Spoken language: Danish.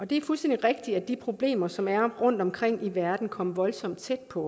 det er fuldstændig rigtigt at de problemer som er rundtomkring i verden kom voldsomt tæt på